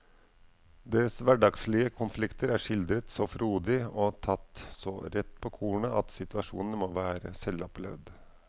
Deres hverdagslige konflikter er skildret så frodig og tatt så rett på kornet at situasjonene må være selvopplevd.